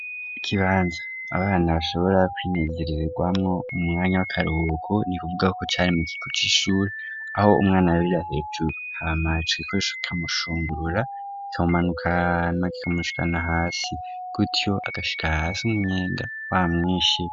Ikibanza abana bashobora kwinezererwamwo mu mwanya w'akaruhuko ni kuvuga ko cari mu kigo c'ishure, aho umwana arabira hejuru hama ico kigo c'ishure kikamushungua, kikamumanukana ,kikamushikana hasi, gutyo agashika hasi umunyenga wamwishe.